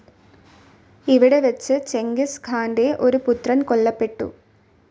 ഇവിടെ വെച്ച് ചെങ്കിസ് ഖാൻ്റെ ഒരു പുത്രൻ കൊല്ലപ്പെട്ടു.